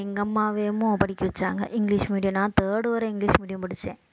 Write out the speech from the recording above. எங்க படிக்க வச்சாங்க இங்கிலிஷ் medium நான் third வரை இங்கிலிஷ் medium படிச்சேன்